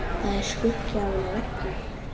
Það er skuggi af henni á veggnum.